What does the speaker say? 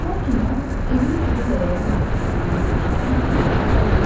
Lakin o, evin Kudu lələyə məxsus olduğunu eşidən kimi razılaşdı.